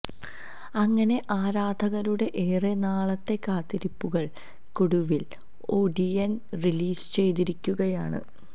അങ്ങനെ ആരാധകരുടെ ഏറെ നാളത്തെ കാത്തിരിപ്പുകള്ക്കൊടുവില് ഒടിയന് റിലീസ് ചെയ്തിരിക്കുകയാണ്